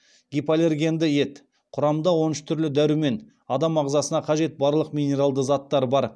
гипоаллергенді ет құрамында он үш түрлі дәрумен адам ағзасына қажет барлық минералды заттар бар